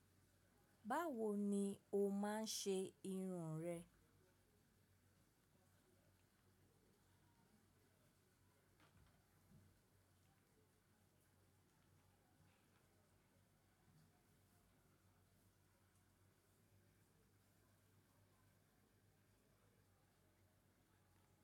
Báwo ni ó máa ń ṣe irun rẹ?